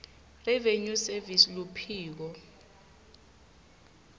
revenue service luphiko